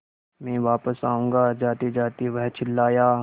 मैं वापस आऊँगा जातेजाते वह चिल्लाया